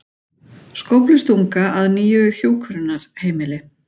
Skóflustunga að nýju hjúkrunarheimili